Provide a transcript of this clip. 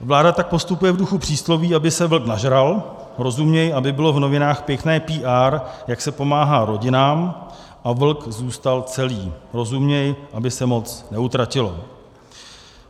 Vláda tak postupuje v duchu přísloví, aby se vlk nažral, rozuměj, aby bylo v novinách pěkné PR, jak se pomáhá rodinám, a vlk zůstal celý, rozuměj, aby se moc neutratilo.